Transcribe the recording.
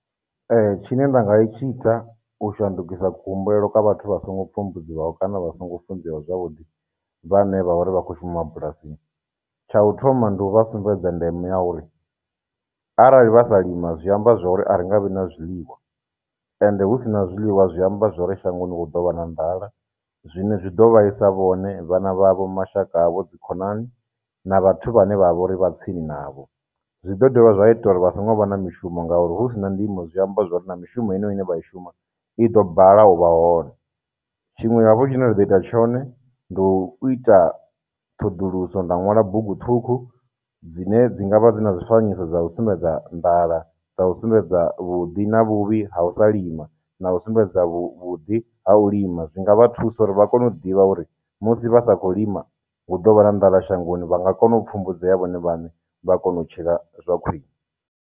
Ee, tshine nda nga itshi ita u shandukisa kuhumbulele kha vhathu vha songo pfumbudziwaho kana vha songo funzeaho zwavhuḓi vhane vha vha uri vha khou shuma mabulasini. Tsha u thoma ndi u vha sumbedza ndeme ya uri, arali vha sa lima zwi amba zwori a ri nga vhi na zwiḽiwa and hu si na zwiḽiwa zwi amba zwori shangoni hu ḓo vha na nḓala, zwine zwi do vhaisa vhone, vhana vha vho, mashaka avho, dzikhonani, na vhathu vhane vha vha uri vha tsini navho. Zwi ḓo dovha zwa ita uri vha songo vha na mishumo ngauri, hu si na ndimo zwi amba zwori na mishumo ine vha i shuma i ḓo balelwa u vha hone. Tshiṅwe hafhu tshine nda ḓo ita tshone, ndi u ita ṱhoḓuluso, nda nwala bugu ṱhukhu dzine dzi ngavha dzi na zwifanyiso dza u sumbedza nḓala, dza u sumbedza vhuḓi na vhuvhi ha u sa lima, na u sumbedza vhuḓi ha u lima. Zwi nga vha thusa uri vha kone u ḓivha uri musi vha sa khou lima, hu ḓo vha na nḓala shangoni. Vha nga kona u pfumbudzea vhone vhaṋe vha kona u tshila zwa khwine.